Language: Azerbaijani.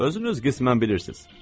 Özünüz qismən bilirsiz.